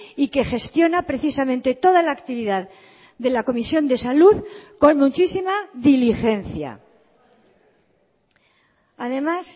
y que gestiona precisamente toda la actividad de la comisión de salud con muchísima diligencia además